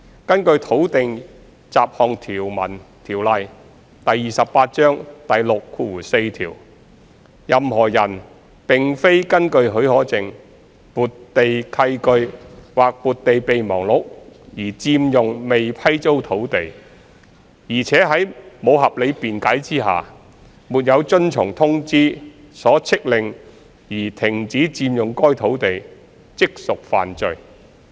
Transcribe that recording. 根據《土地條例》第64條，任何人並非根據許可證、撥地契據或撥地備忘錄而佔用未批租土地，且在無合理辯解下，沒有遵從通知所飭令而停止佔用該土地，即屬犯罪。